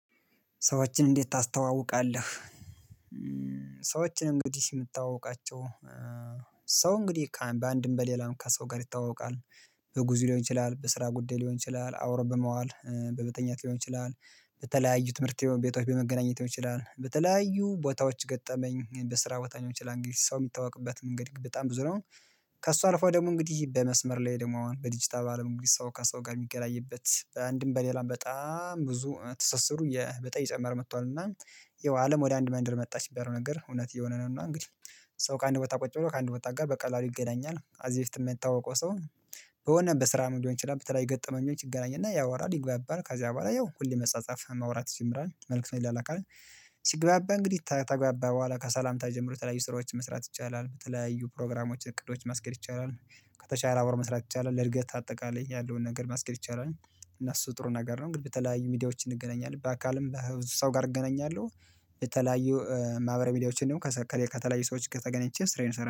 ሰዎችን እንዴት ታስተዋውቃለህ? ሰዎችን እንግዲህ የምታውቃቸው ሰው እንግዲህ በአንድም በሌላም ከሰው ጋር ይታወቃል በጉዞ ሊሆን ይችላል በስራ ጉዳይ ሊሆን ይችላል አብሮ በመዋል በመተኛት ሊሆን ይችላል በተለያዩ ትምህርት ቤቶች በመገናኘት ሊሆን ይችላል በተለያዩ ቦታዎች ገጠመኝ በስራ ቦታዎች ሊሆን ይችላል እንግዲህ ሰው የሚታወቅበት መንገድ በጣም ብዙ ነው። ከእሷ አልፏ ደግሞ እንግዲህ በመስመር ላይ ደግሞ አሁን በዲጂታል አለም እንግዲህ ሰው ከሰው ጋር የሚገናኝበት በአንድም በሌላም በጣም ብዙ ትስስሩ በጠይ እየጨመረ መጥቷል። እና ይኸው አለም ወደ አንድ ማንደር መጣ የሚባላው ነገር እውነት እየሆነ ነው። እና እንግዲህ ሰው ከአንድ ቦታ ቁጭ ብሎ ከአንድ ቦታ ጋር በቃ ይገናኛል ከዚ በፊት የምታወቀው ሰው ነው። በሆነ ስራ መንገድ እንደሆንኩኝ በተለይ የገጠመኝን ይገናኝና ያወራል ይግባባል ከዚያ በኋላ ያው ሁሌ መሳጻፍ ማውራት ይጀራል መልክቱን ይላላካል። ሲግባባ እንግዲህ ታግባባ በኋላ ከሰላምታ ጀምሮ የተለያዩ ስራዎችን መስራት ይቻላል በተለያዩ ፕሮግራሞችን እቅዶችን ማስገድ ይቻላል። ከተቻለ አብሮ መስራት ይቻላል ለእድገት አጠቃላይ ያለውን ነገር መስኬድ ይቻላል። እና እሱ ጥሩ ነገር ነው እንግዲህ በተለያዩ ሚዲያዎችን እንገናኛለን በአካልም በሰው ጋር እገናኛለሁ። የተለያዩ ማህበረ ሚዲያዎችን ደግሞ ከተለያዩ ሰዎች ከተገናኘቼ ስራዬን